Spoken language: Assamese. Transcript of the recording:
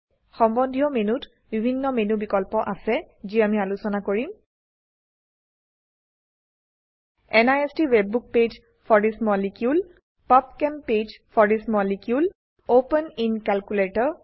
সম্বন্ধীয় মেনুত বিভিন্ন মেনু বিকল্প আছে যি আমি আলোচনা কৰিম NIST WebBook page for this molecule PubChem page for this molecule open in calculator